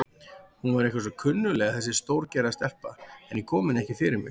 Hún var eitthvað svo kunnugleg þessi stórgerða stelpa, en ég kom henni ekki fyrir mig.